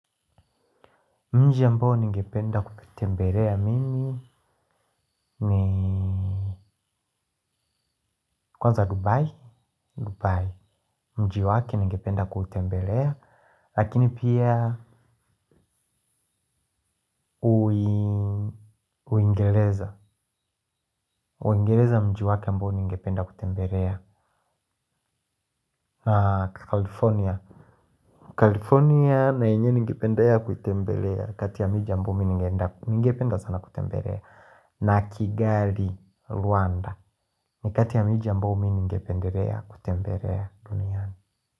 Mji ambao ningependa kutembelea mimi ni kwanza dubai dubai mji wakie ningependa kutembelea lakini pia uingereza. Uingereza mji wake ambao ningependa kutembelea California na yenye ningependa kutembelea kati ya mji ambao ningependa sana kutembelea. Na kigali rwanda ni kati ya mji ya ambao ningependa kutembelea duniana.